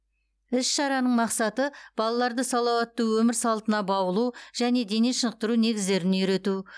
іс шараның мақсаты балаларды салауатты өмір салтына баулу және дене шынықтыру негіздерін үйрету